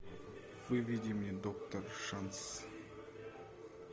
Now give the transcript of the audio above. выведи мне доктор шанс